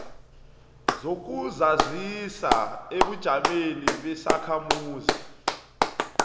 zokuzazisa ebujameni besakhamuzi